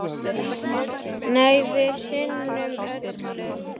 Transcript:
Nei, við sinnum öllu.